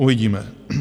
Uvidíme.